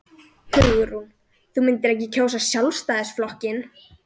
Hugrún: Þú myndir ekki kjósa Sjálfstæðisflokkinn?